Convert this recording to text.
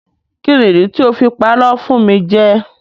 Kíni ìdí tí I fi parọ́ fún mi jẹ.